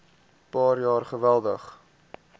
paar jaar geweldig